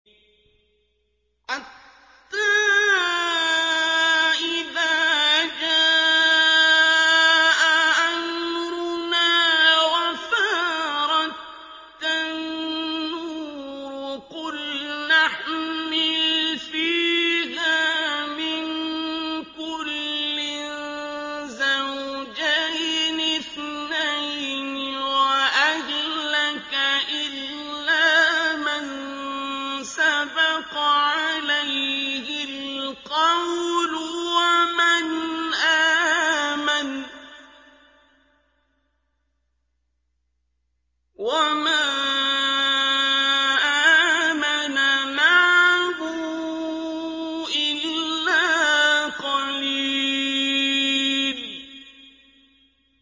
حَتَّىٰ إِذَا جَاءَ أَمْرُنَا وَفَارَ التَّنُّورُ قُلْنَا احْمِلْ فِيهَا مِن كُلٍّ زَوْجَيْنِ اثْنَيْنِ وَأَهْلَكَ إِلَّا مَن سَبَقَ عَلَيْهِ الْقَوْلُ وَمَنْ آمَنَ ۚ وَمَا آمَنَ مَعَهُ إِلَّا قَلِيلٌ